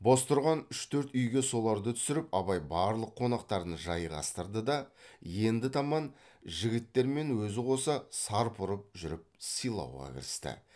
бос тұрған үш төрт үйге соларды түсіріп абай барлық қонақтарын жайғастырды да енді таман жігіттермен өзі қоса сарп ұрып жүріп сыйлауға кірісті